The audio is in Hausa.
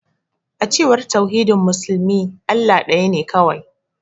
A cewar tauhidin musulmi, Allah daya ne kawai.